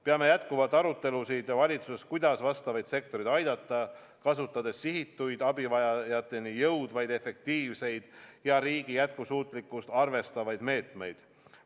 Peame valitsuses jätkuvalt arutelusid, kuidas neid sektoreid aidata, kasutades sihitud, abivajajateni jõudvaid, efektiivseid ja riigi jätkusuutlikkust arvestavaid meetmeid.